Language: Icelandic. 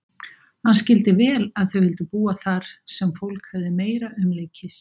Hann skildi vel að þau vildu búa þar sem fólk hefði meira umleikis.